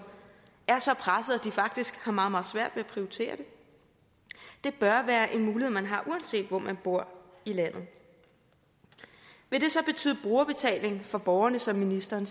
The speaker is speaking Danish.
er så pressede at de faktisk har meget meget svært ved at prioritere det det bør være en mulighed man har uanset hvor man bor i landet vil det så betyde brugerbetaling for borgerne som ministeren